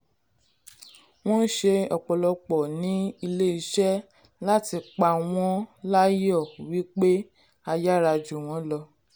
wón ṣe ọ̀pọ̀lọpọ̀ ní ilé iṣẹ́ láti pa wón láyò wón láyò wípé a yára jù wón lọ.